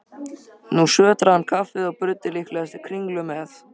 Nú sötraði hann kaffið og bruddi líklegast kringlu með.